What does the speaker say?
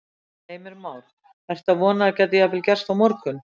Heimir Már: Ertu að vona að það geti jafnvel gerst á morgun?